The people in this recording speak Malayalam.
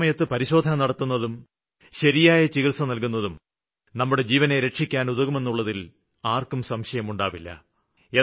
കൃത്യസമയത്ത് പരിശോധന നടത്തുന്നതും ശരിയായ ചികിത്സ നല്കുന്നതും നമ്മുടെ ജീവനെ രക്ഷിക്കാന് ഉതകുമെന്നുള്ളതില് ആര്ക്കും സംശയം ഉണ്ടാവില്ല